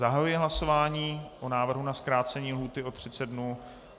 Zahajuji hlasování o návrhu na zkrácení lhůty o 30 dnů.